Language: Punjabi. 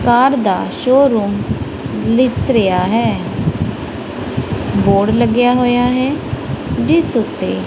ਕਾਰ ਦਾ ਸ਼ੋਰੂਮ ਦਿੱਸ ਰਿਹਾ ਹੈ ਬੋਰਡ ਲੱਗਿਆ ਹੋਇਆ ਹੈ ਜਿਸ ਓੱਤੇ --